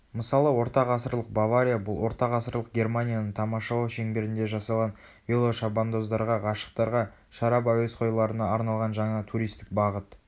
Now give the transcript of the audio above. мысалы ортағасырлық бавария бұл ортағасырлық германияны тамашалау шеңберінде жасалған велошабандоздарға ғашықтарға шарап әуесқойларына арналған жаңа туристік бағыт